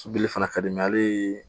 Sobili fana ka di ale ye